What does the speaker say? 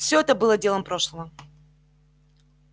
всё это было делом прошлого